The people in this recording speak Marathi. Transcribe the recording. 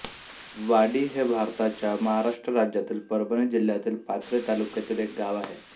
वाडी हे भारताच्या महाराष्ट्र राज्यातील परभणी जिल्ह्यातील पाथरी तालुक्यातील एक गाव आहे